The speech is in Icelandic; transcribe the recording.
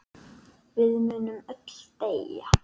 Við munum öll deyja.